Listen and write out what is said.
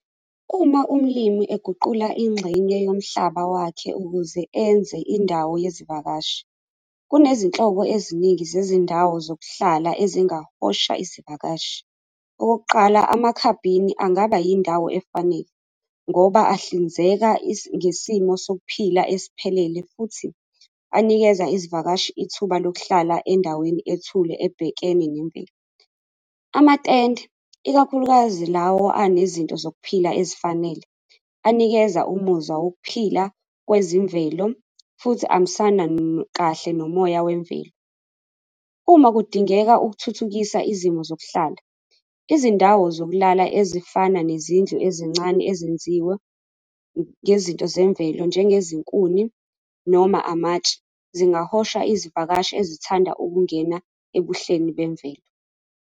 Uma umlimi eguqula ingxenye yomhlaba wakhe ukuze enze indawo yezivakashi, kunezinhlobo eziningi zezindawo zokuhlala ezingahosha isivakashi. Okokuqala, amakhabini angaba yindawo efanele ngoba ahlinzeka ngesimo sokuphila esiphelele futhi anikeza izivakashi ithuba lokuhlala endaweni ethule ebhekene nemvelo. Amatende, ikakhulukazi lawo anezinto zokuphila ezifanele, anikeza umuzwa wokuphila kwezemvelo, futhi amisana kahle nomoya wemvelo. Uma kudingeka ukuthuthukisa izimo zokuhlala izindawo zokulala ezifana nezindlu ezincane ezenziwe ngezinto zemvelo, njenge zinkuni noma amatshe zingahosha izivakashi ezithanda ukungena ebuhleni bemvelo.